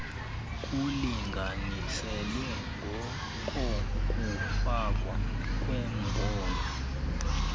kulinganiselwa ngokokufakwa kwembono